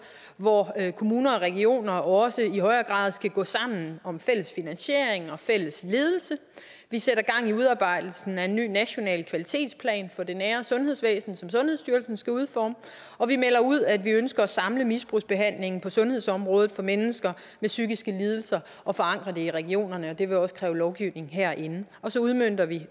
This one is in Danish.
hvor kommuner og regioner også i højere grad skal gå sammen om fælles finansiering og fælles ledelse vi sætter gang i udarbejdelsen af en ny national kvalitetsplan for det nære sundhedsvæsen som sundhedsstyrelsen skal udforme og vi melder ud at vi ønsker at samle misbrugsbehandlingen på sundhedsområdet for mennesker med psykiske lidelser og forankre det i regionerne og det vil også kræve lovgivning herinde så udmønter vi